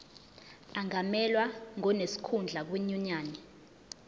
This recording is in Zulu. angamelwa ngonesikhundla kwinyunyane